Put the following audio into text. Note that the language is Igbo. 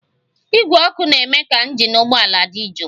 Igwe ọkụ na-eme ka injin ụgbọala di jụụ